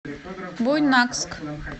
буйнакск